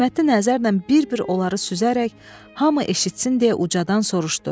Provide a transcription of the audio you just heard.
Töhmətli nəzərlə bir-bir onları süzərək hamı eşitsin deyə ucadan soruşdu: